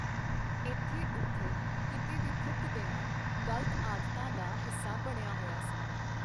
ਇੱਥੇ, ਉੱਥੇ, ਕੀਤੇ ਵੀ ਥੁੱਕ ਦੇਣਾ, ਗ਼ਲਤ ਆਦਤਾਂ ਦਾ ਹਿੱਸਾ ਬਣਿਆ ਹੋਇਆ ਸੀ।